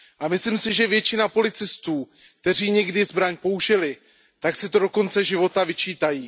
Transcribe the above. Myslím si, že většina policistů, kteří někdy zbraň použili, si to do konce života vyčítají.